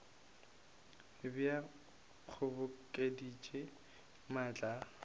be a kgobokeditše maatla a